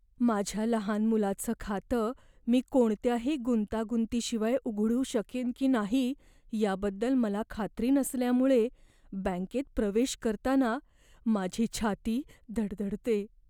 माझ्या लहान मुलाचं खातं मी कोणत्याही गुंतागुंतीशिवाय उघडू शकेन की नाही याबद्दल मला खात्री नसल्यामुळे बँकेत प्रवेश करताना माझी छाती धडधडते.